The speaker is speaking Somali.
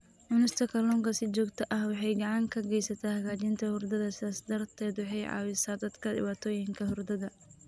Cunista kalluunka si joogto ah waxay gacan ka geysataa hagaajinta hurdada, sidaas darteed waxay caawisaa dadka dhibaatooyinka hurdada.